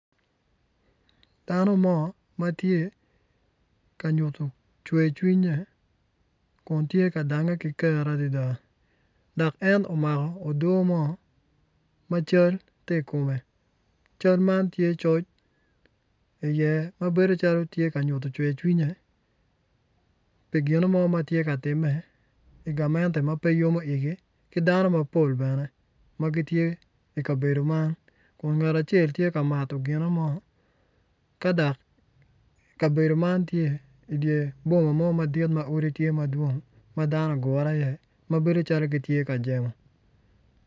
Dano mo ma tye ka nyuttu cwercwinnye Kun tye ka dange ki kero adida dak en omako odoo mo ma cal ti ikume cal tye coc iye ma bedo calo ti ka nyuttu cwercwinnye pi gino mo ma tye ka time I gamente ma pe yomo yigi ki dano mapol bene ki dano mapol bene ma gitye I kabedo man Kun ngat acel tye ka mato gimo ka dak kabedo man tye idye boma ma odi tye ki odi madwong ma gugure iye ma bedo calo gitye ka jemmo